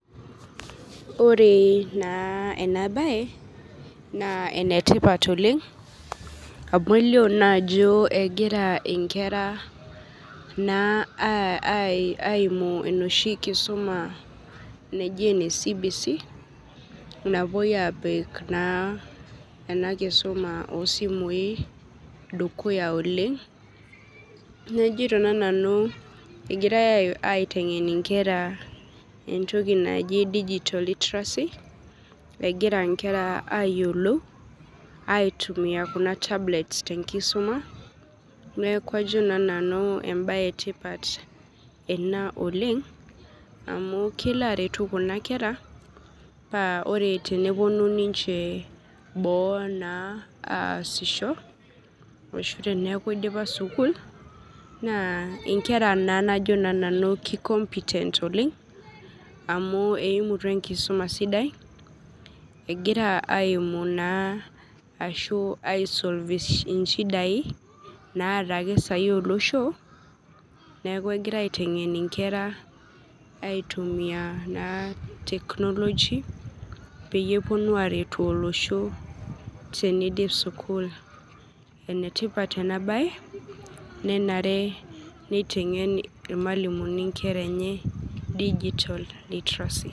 Oree naa enabaye naa enetipat oleng' amu elio naajoo egira inkera naa [aah ai] aimu noshi kisuma naji ene CBC napuoi apik naa ena kisuma osimui dukuya oleng'. Neaku ajoito naa nanu egirai aiteng'en entoki naji digital literacy, egira nkera ayiolou aitumia kuna tablets tenkisuma neaku ajo naa nanu embaye etipat ena oleng' amu kelo aretu kuna kera paa ore tenepuonu ninche boo naa aasisho, ore oshi teneaku eidipa sukul naa inkera naa najo naa nanu kikompitent oleng' amu eimutua enkisuma sidai egira aimu naa ashu aisolf ishidai naata ake sai olosho, neaku egira aiteng'en inkera aitumia naa teknoloji peyie epuonu aaretu olosho teneidip sukul. Enetipat enabaye nenare neiteng'en ilmalimuni inkeraenye  digital literacy.